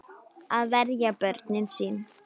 Að verja börnin sín.